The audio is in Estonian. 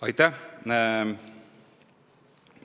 Aitäh!